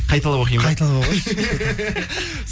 қайталап оқиын ба қайталап оқыңызшы